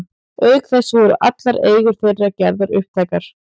Auk þess voru allar eigur þeirra gerðar upptækar.